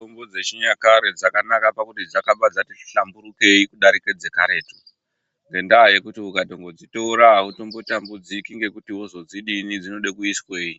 Mitombo dzechinyakare dzakanaka pakuti dzakabva dzati hlamburukei kudarike dzekaretu, ngendaa yekuti ukatongodzitora hautombotambudziki ngekuti wozodzidii, dzinode kuiswei.